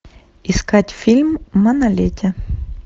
искать фильм манолете